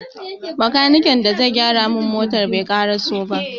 Bakaniken da zai gyara mun motan bai ƙaraso ba.